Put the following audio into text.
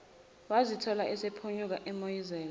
wazithola esephunyuka emoyizela